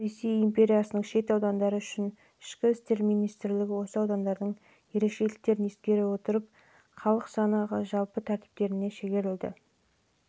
санақ қазіргі қазақстан республикасының аумағында да жүргізіліп онда негізінен ресей империясының дала және түркістан генерал-губернаторлығына қарасты